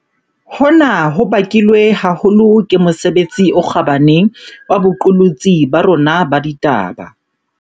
Hona ho bakilwe haholo ke mosebetsi o kgabane wa boqolotsi ba rona ba ditaba.